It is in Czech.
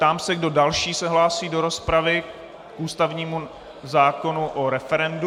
Ptám se, kdo další se hlásí do rozpravy k ústavnímu zákonu o referendu.